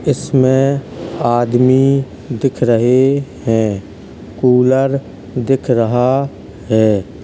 इसमें आदमी दिख रहे हैं। कूलर दिख रहा है।